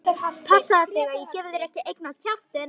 Passaðu þig að ég gefi þér ekki einn á kjaftinn!